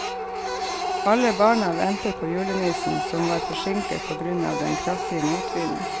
Alle barna ventet på julenissen, som var forsinket på grunn av den kraftige motvinden.